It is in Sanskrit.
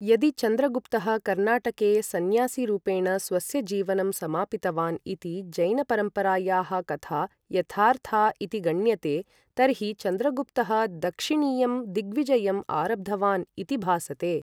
यदि चन्द्रगुप्तः कर्नाटके संन्यासीरुपेण स्वस्य जीवनं समापितवान् इति जैन परम्परायाः कथा यथार्था इति गण्यते, तर्हि चन्द्रगुप्तः दक्षिणीयं दिग्विजयम् आरब्धवान् इति भासते।